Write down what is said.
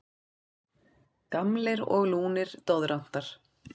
Gamlir og lúnir doðrantar.